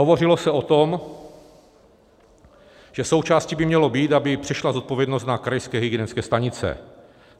Hovořilo se o tom, že součástí by mělo být, aby přešla zodpovědnost na krajské hygienické stanice.